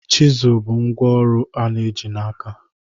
Chisụl bụ ngwá ọrụ a na-eji n'aka.